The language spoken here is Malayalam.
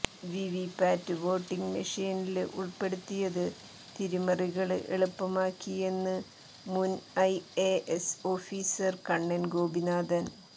വിവിപാറ്റ് വോട്ടിംഗ് മെഷീനില് ഉള്പ്പെടുത്തിയത് തിരിമറികള് എളുപ്പമാക്കിയെന്ന് മുന് ഐഎഎസ് ഓഫീസര് കണ്ണന് ഗോപിനാഥന്